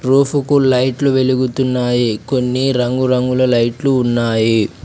రూఫుకు లైట్లు వెలుగుతున్నాయి కొన్ని రంగురంగుల లైట్లు ఉన్నాయి.